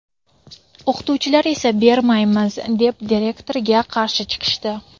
O‘qituvchilar esa bermaymiz, deb direktorga qarshi chiqishdi.